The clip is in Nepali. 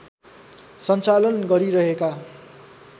सञ्चालन गरिरहेका